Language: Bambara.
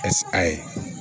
a ye